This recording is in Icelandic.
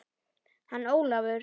Hann Ólafur?